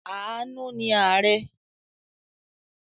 Àánú ni ààrẹ̀.